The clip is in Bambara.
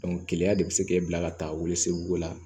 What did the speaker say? keleya de be se k'e bila ka taa weleseguko la